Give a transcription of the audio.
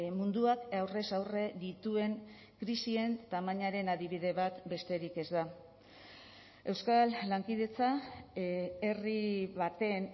munduak aurrez aurre dituen krisien tamainaren adibide bat besterik ez da euskal lankidetza herri baten